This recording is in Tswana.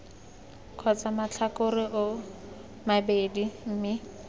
kgotsa matlhakore oo mabedi mme